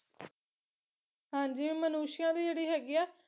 ਹਾਂਜੀ ਮਨੁਸ਼ਿਆ ਦੀ ਜਿਹੜੀ ਹੈਗੀ ਆ